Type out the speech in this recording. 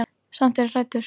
Samt er ég hræddur.